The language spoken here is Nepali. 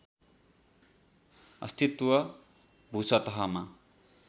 अस्तित्व भूसतहमा